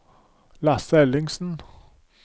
Lasse Ellingsen